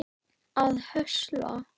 að höstla